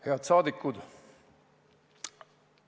Head saadikud!